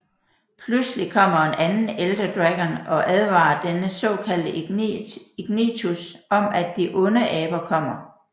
Pludselig kommer en anden Elder Dragon og advarer denne såkaldte Ignitus om at de onde aber kommer